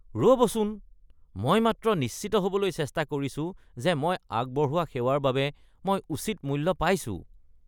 ৰ'বচোন, মই মাত্ৰ নিশ্চিত হ'বলৈ চেষ্টা কৰিছো যে মই আগবঢ়োৱা সেৱাৰ বাবে মই উচিত মূল্য পাইছোঁ।